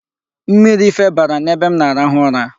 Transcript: Mmiri febara n'ebe m na-arahụ ụra.